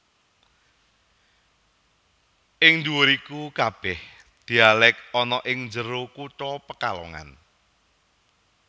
Ing nduwur Iku kabeh dialek ana ing njero kutha Pekalongan